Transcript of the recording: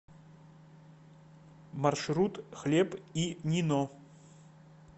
маршрут хлеб и нино